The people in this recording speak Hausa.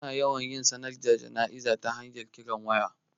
Ana yawan yin sanarwar jana'izar ta hanyar kiran waya